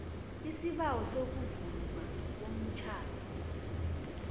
isibawo sokuvunywa komtjhado